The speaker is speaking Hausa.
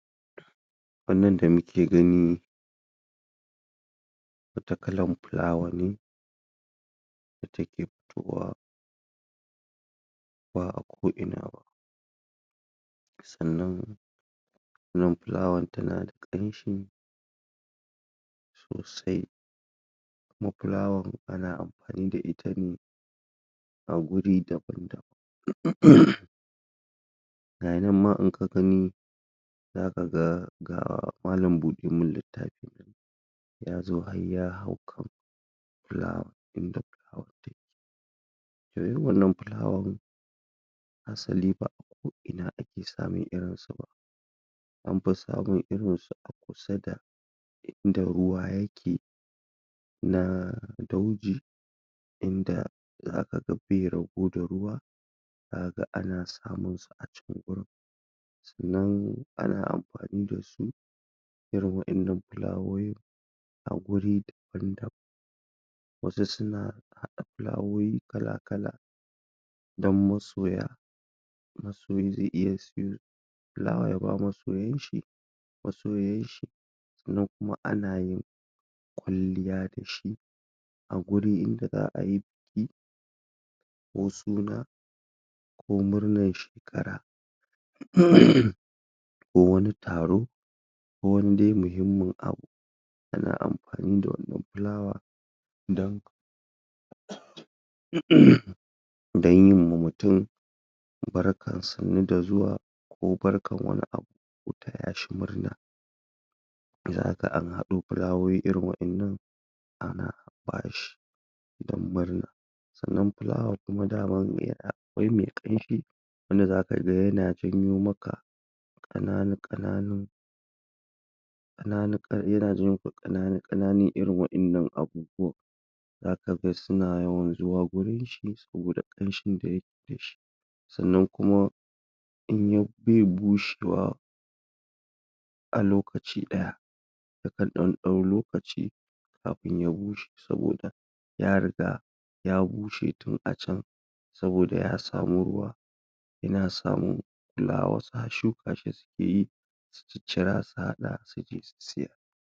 Wannan da nike gani Wata kallon flawa ne Da ta ke fitowa Ba a ko ina ba Sannan Wannan flawar ta na da ƙamshi Sosai Kuma flawar ana amfani da ita ne A guri daban daban Ga ya nan ma in ka gani Za ka ga, ga mallam buɗe min littafi Ya zo har ya hau kan Wannan flawan Asali ba a ko ina ake samin irin sa ba An fi samin irin sa a kusa da inda ruwa ya ke Na dauji, inda za ka ga be rabo da ruwa Za ka ga ana samin sa a cikin wurin Sannan ana amfani da su Irin waɗannan flawowin a guri daban daban Wasu suna haɗa flawowi kala kala Don masoya Masoyi zai iya sayo flawa ya ba masoyan shi, masoyiyar shi Sannan kuma ana yin kwalliya da shi a gurin inda za'a yi buki Ko suna ko murnan shekara Ko wani taro, ko wani dai muhimmun abu Ana amfani da wannan flawa don Don yi ma mutum, barkan sannu da zuwa, ko barkan wani abu, ko ta ya shi murna Za ka ɗan haɗo flawowi irin waɗannan Ana ba shi don murna Sannan flawa kuma daman akwai mai ƙamshi, wanda za ka ga yana janyo maka ƙanana ƙananin ƙananun yana janyo ƙananun ƙananun irin waɗannan abubuwan Za ka ga suna yawan zuwa wurin shi saboda ƙamshin da ya ke da shi Sannan kuma In ya... bai bushewa A lokaci ɗaya Ya kan ɗan ɗau lokaci kafin ya bushe saboda ya riga ya bushe tun a can Saboda ya sami ruwa Yana samun flawas a shuka shi sukeyi, su cicira su haɗa su je su sayar.